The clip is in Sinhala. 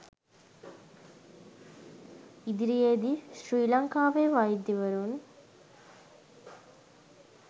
ඉදිරියේ දී ශ්‍රි ලංකාවේ වෛද්‍යවරුන්